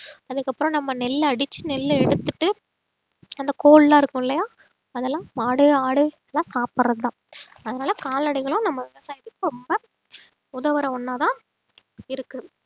அதுக்கப்புறம் நம்ம நெல்ல அடிச்சு நெல்ல எடுத்துட்டு அந்த கோல் எல்லாம் இருக்கும் இல்லையா அதெல்லாம் மாடு ஆடு எல்லாம் சாப்பிடுறதுதான் அதனால கால்நடைகளும் நம்ம விவசாயத்துக்கு ரொம்ப உதவுற ஒண்ணாதான் இருக்கு